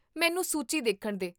ਮੈਨੂੰ ਸੂਚੀ ਦੇਖਣ ਦੇ